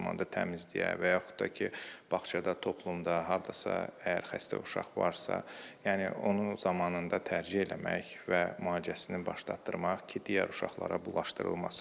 Eyni zamanda təmizliyə və yaxud da ki, bağçada, toplumda, hardasa əgər xəstə uşaq varsa, yəni onu zamanında tərcə eləmək və müalicəsini başlatdırmaq ki, digər uşaqlara bulaşdırılmasın.